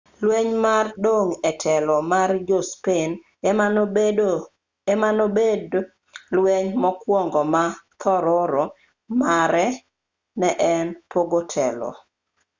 lweny mar dong' e telo mar jo-spain ema nobedo lweny mokwongo ma thororo mare ne en pogo telo